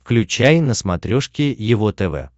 включай на смотрешке его тв